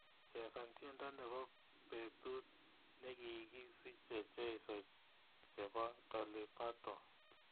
chesan tyendo nebo betut negigisiche cheiso chebo doli Paton